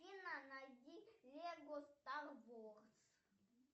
афина найди лего стар ворс